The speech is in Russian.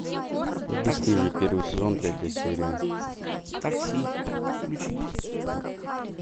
бесстыжие первый сезон третья серия